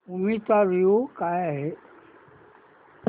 movie चा review काय आहे